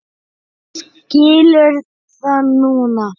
Skilur það núna.